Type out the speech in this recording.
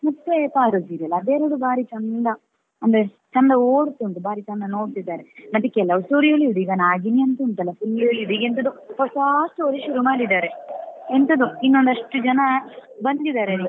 ಮತ್ತೆ ಪಾರು serial ಅದು ಎರಡು ಬಾರಿ ಚಂದ ಅಂದ್ರೆ ಚಂದ ಓಡ್ತುಂಟು ಬಾರಿ ಚಂದ ನೋಡ್ತಿದ್ದಾರೆ ಅದಿಕ್ಕೆ love story ಎಳಿಯುದು ಈಗ ನಾಗಿಣಿ ಅಂತ ಉಂಟಲ್ಲ full ಎಳೆಯುದು ಈಗ ಎಂತದೋ ಹೊಸ story ಶುರು ಮಾಡಿದಾರೆ ಎಂತದೋ ಇನ್ನೊಂದಷ್ಟು ಜನ ಬಂದಿದ್ದಾರೆ.